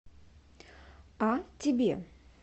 а тебе